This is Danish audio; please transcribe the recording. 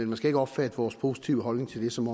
man skal ikke opfatte vores positive holdning til det som